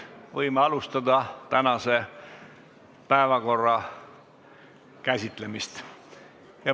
Võime alustada tänase päevakorra käsitlemist.